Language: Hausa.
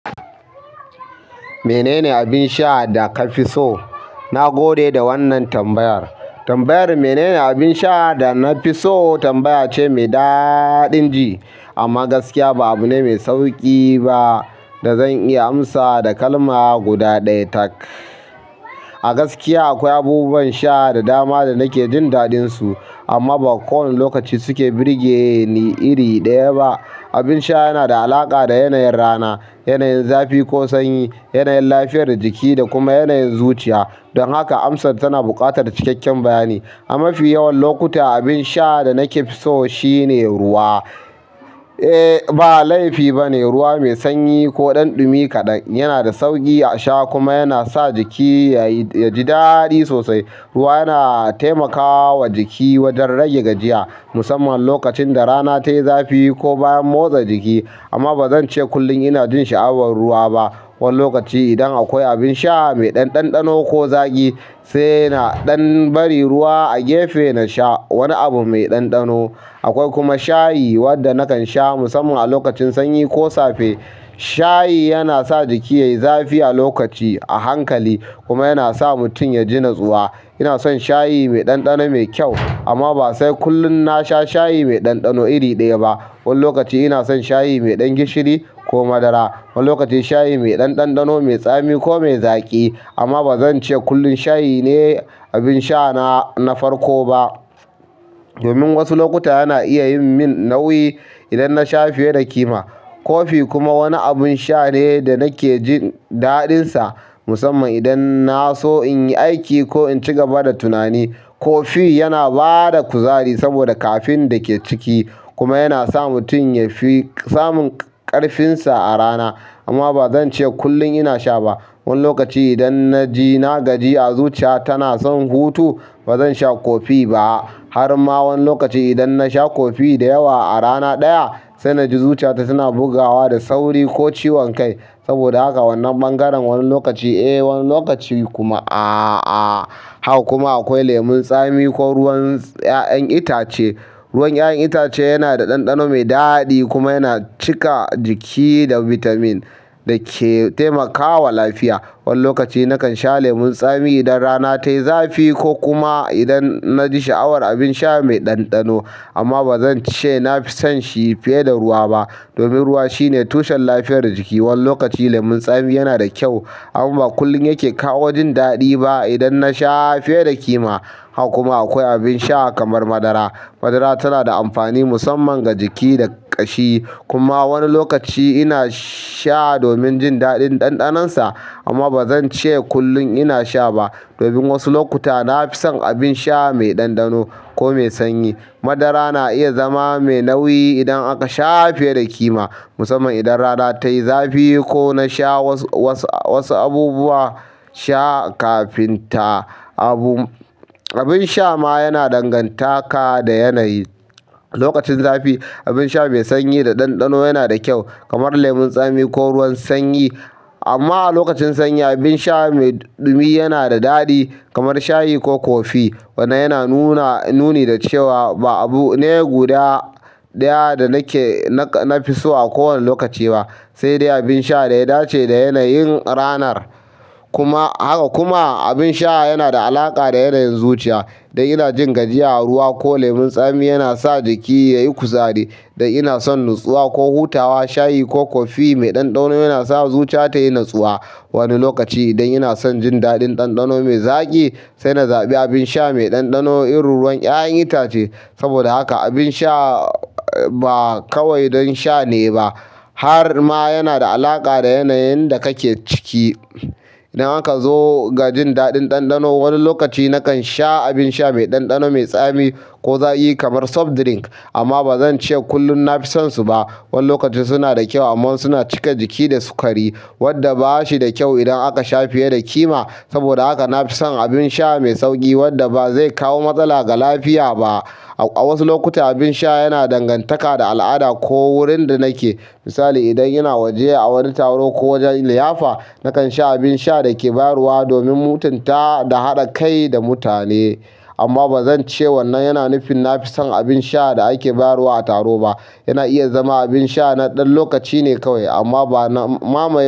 Mene ne abin sha da ka fi so? Na gode da wannan tambayar. Tambayar "mene ne abin sha da na fi so" tambaya ce mai daɗin ji amma gaskiya ba abu ne mai sauƙi ba da zan iya amsa da kalma guda ɗaya tak. A gaskiya akwai abubuwan sha da dama da nake jin daɗinsu amma ba kowane lokaci suke birge ni iri ɗaya ba. Abin sha yana da alaƙa da yanayin rana, yanayin zafi ko sanyi, yanayin lafiyar jiki da kuma yanayin zuciya. Dan haka amsar tana buƙatar isasshen bayani. A mafi yawan lokuta abin sha da nake fi so shine ruwa. Eh ba laifi bane ruwa mai sanyi ko ɗanɗumi kaɗan yana da sauƙi a sha kuma yana sa jiki yaji daɗi sosai. Ruwa yana taimakawa jiki wajen rage gajiya musamman lokacin da rana tayi zafi ko bayan motsa jiki. Amma bazan ce kullum ina jin sha'awar ruwa ba. Wani lokaci idan akwai abin sha mai ɗanɗano ko zaqi sai na dan bari ruwa a gefe na sha wani abu mai ɗanɗano. Akwai kuma shayi wanda nakan sha musamman a lokacin sanyi ko safe. Shayi yanasa jiki yayi zafi a lokaci, a hankali kuma yana sa mutum yaji nutsuwa. Ina son shayi mai ɗanɗano mai kyau amma ba sai kullum na sha shayi mai ɗanɗano iri ɗaya ba. Wani lokaci ina son shayi mai ɗan gishiri ko madara, wani lokacin shayi mai ɗanɗano mai tsami ko mai zaƙi. Amma bazan ce kullum shayi ne abin sha na farko ba. Domin wasu lokuta yana iya min nauyi idan na sha fiye da kima. Kofi kuma wani abun sha ne da nake jin daɗinsa musamman idan na so in yi aiki ko in ci gaba da tunani. Kofi yana bada kuzari saboda ƙafin da ke ciki kuma yana sa mutum ya fi samun ƙarfinsa a rana. Amma bazan ce kullum ina sha ba. Wani lokaci idan na ji na gajiya a zuciya tana son hutu bazan sha kofi ba. Har ma wani lokaci idan na sha kofi da yawa a rana ɗaya sai na ji zuciyata suna bugawa da sauri ko ciwon kai. Saboda haka wannan bangaren wani lokaci, eh wani lokaci kuma ah ah! Haka kuma akwai lemon tsami ko ruwan yayen itace. Ruwan 'ya'yan itace yana da ɗanɗano mai daɗi kuma yana cika jiki da bitamin da ke taimakawa lafiya. Wani lokaci nakan sha lemon tsami idan rana tayi zafi ko kuma idan na ji sha'awar abin sha mai ɗanɗano. Amma bazan ce na fi son shi fiye da ruwa ba. Domin ruwa shine tushen lafiyar jiki. Wani lokaci lemon tsami yana da kyau amma ba kullum yake kawo jin daɗi ba idan na sha fiye da kima. Hak kuma akwai abin sha kamar madara. Madara tana da amfani musamman ga jiki da ƙashi. Kuma wani lokaci ina sha domin jin ɗadin ɗanɗanonsa amma bazan ce kullum ina sha ba. Domin wasu lokuta na fi son abin sha mai ɗanɗano ko mai sanyi. Madara na iya zama mai nauyi idan aka sha fiye da kima musamman idan rana tayi zafi ko na sha wasu abubuwan sha kafin ta. Abin sha ma yana dangantaka da yanayi. Lokacin zafi abin sha mai sanyi da ɗanɗano yana da kyau kamar lemon tsami ko ruwan sanyi. Amma a lokacin sanyi abin sha mai ɗumi yana da daɗi kamar shayi ko kofi. Wannan yana nuna, nuni da cewa ba abu ne guda ɗaya da nake, na fi so a kowane lokaci ba. Sai dai abin sha da ya dace da yanayin ranar. Kuma, haka kuma abin sha yana da alaƙa da yanayin zuciya. Idan ina jin gajiya ruwa ko lemon tsami yana sa jiki yayi kuzari. Idan ina son natsuwa ko hutawa shayi ko kofi mai ɗanɗano yana sa zuciya tayi natsuwa. Wani lokaci idan ina son jin daɗin ɗanɗano mai zaƙi sai na zaɓi abin sha mai ɗanɗano irin ruwan 'ya'yan itace. Saboda haka abin sha ba kawai dan sha ne ba, har ma yanada alaqa da yanayin da kake ciki. Idan aka zo ga jin daɗin ɗanɗano wani lokaci nakan sha abin sha mai ɗanɗano mai tsami ko zaƙi kamar soft drink. Amma bazan ce kullum na fi sonsu ba. Wani lokaci suna da kyau amma suna cika jiki da sukari wanda ba shi da kyau idan aka sha fiye da kima. Saboda haka nafison abun sha me sauƙi wanda ba zai kawo matsala ga lafiya ba, a wasu lokuta abin sha yana dangantaka da al'ada ko wurin da nake. Misali idan ina waje a wani taro ko wajen liyafa nakan sha abin sha da ake bayarwa domin mutunta da haɗa kai da mutane. Amma bazan ce wannan yana nufin na fi son abin sha da ake bayarwa a taro ba. Yana iya zama abin sha na ɗan lokaci ne kawai amma ba na mama.